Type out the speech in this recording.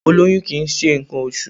Ólóyún kìí ṣe ǹkan oṣù